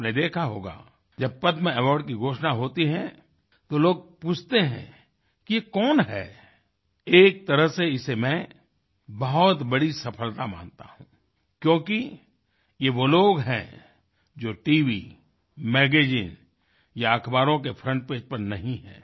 आपने देखा होगा जब पद्म अवार्ड की घोषणा होती है तो लोग पूछते हैं कि ये कौन है एक तरह से इसे मैं बहुत बड़ी सफलता मानता हूँ क्योंकि ये वो लोग हैं जो tव मैगज़ीन या अख़बारों के फ्रंट पेज पर नहीं हैं